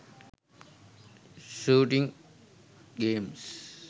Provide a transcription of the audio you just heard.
shooting games